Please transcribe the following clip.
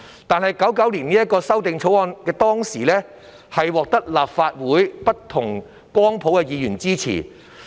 當時，《1999年保護海港條例草案》得到立法會內不同光譜的議員支持。